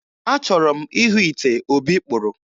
Achọrọ m ịhụ ite Obi kpụrụ